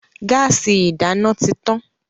Gáàsì ìdáná ti tan.